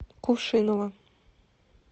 кувшиново